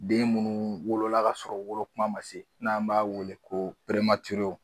Den munnu wolola ka sɔrɔ wolo kuma ma se n'an b'a wele ko